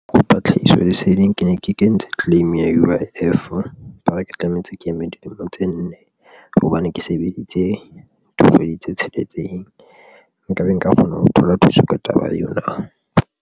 Ke kopa tlhahiso leseding ke ne ke kentse claim ya U_I_F ba re ke tlamehetse ke eme dilemo tse nne hobane ke sebeditse dikgwedi tse tsheletseng nkabe nka kgona ho thola thuso ka taba ena na?